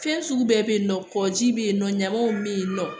Fɛn sugu bɛɛ bɛ yen nɔ kɔkɔji bɛ yen nɔ ɲamaw bɛ yen nɔ